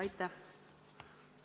Aitäh!